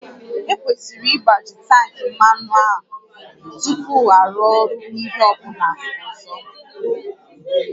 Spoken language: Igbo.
Ekwesịrị ịgbaju tankị mmanụ a tupu arụ ọrụ n'ihe ọ bụla ọzọ